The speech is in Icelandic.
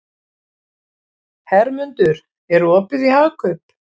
Hermundur, er opið í Hagkaup?